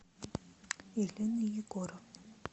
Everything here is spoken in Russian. елены егоровны